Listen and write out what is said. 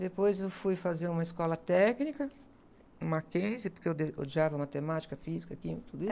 Depois eu fui fazer uma escola técnica, o Mackenzie, porque eu de, odiava matemática, física, química, tudo isso.